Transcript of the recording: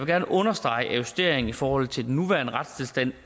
gerne understrege at justeringen i forhold til den nuværende retstilstand